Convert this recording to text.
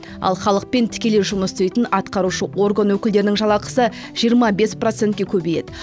ал халықпен тікелей жұмыс істейтін атқарушы орган өкілдерінің жалақысы жиырма бес процентке көбейеді